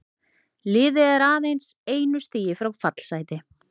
Liðið er aðeins einu stigi frá fallsæti.